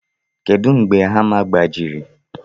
Kedu mgbe hama gbajiri?